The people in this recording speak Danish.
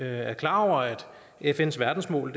er klar over at fns verdensmål